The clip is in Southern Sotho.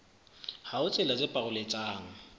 ha ho tsela tse paroletsang